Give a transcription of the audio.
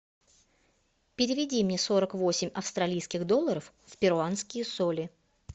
переведи мне сорок восемь австралийских долларов в перуанские соли